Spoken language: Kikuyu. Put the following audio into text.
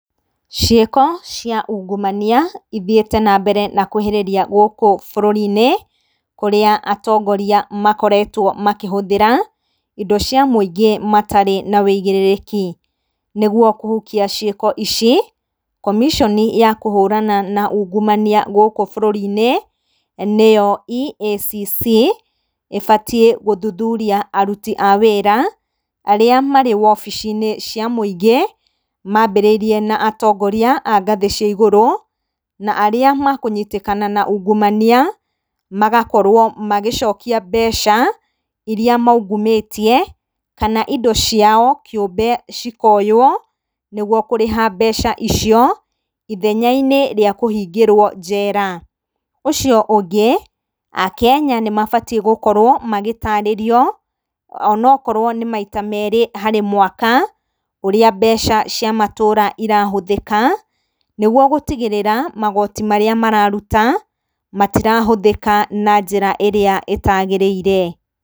Ciĩko cia ungumania ithiĩte nambere na kũĩhĩrĩria gũkũ bũrũrri-inĩ kũrĩa atongoria makoretwo makĩhũthĩra indo cia mũingĩ matarĩ na wĩigĩrĩrĩki. Nĩguo kũhukia ciĩko ici, commission ya kũhũrana na ungumania gũkũ bũrũri-inĩ, nĩyo EACC, ĩbatiĩ gũthuthuria aruti a wĩra arĩa marĩ wobici-inĩ cia mũingĩ maambĩrĩire na atongoria a ngathĩ cia igũrũ, na arĩa makũnyitĩkana na uungumania, magakorwo magĩcokia mbeca iria maungumĩtie kana indo ciao kĩumbe cikaoywo nĩguo kũrĩha mbeca icio, ithenya-inĩ rĩa kũhingĩrwo njera. Ũcio ũngĩ, akenya nĩ mabatiĩ gũkorwo magĩtaarĩrio o na okorwo nĩ maita merĩ harĩ mwaka, ũrĩa mbeca cia matũra irahũthĩka nĩguo gũtigĩrĩra magoti marĩa mararuta matirahũthĩka na njĩra ĩrĩa ĩtaagĩrĩire.